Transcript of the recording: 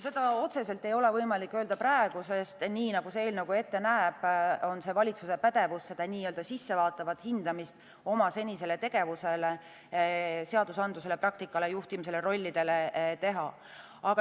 Seda otseselt ei ole praegu võimalik öelda, sest nii, nagu eelnõu ette näeb, on see valitsuse pädevus seda sissevaatavat hindamist oma senisele tegevusele, seadusandlusele, praktikale, juhtimisele, rollidele teha.